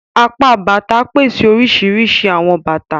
Apá Bàtà pèsè oríṣiríṣi awọn bàtà.